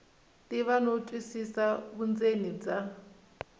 tiva no twisisa vundzeni bya